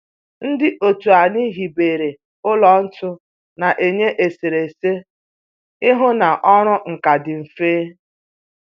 Ndị otu anyị hibere ụlọ ntu na-enye eserese ihu na ọrụ nka dị mfe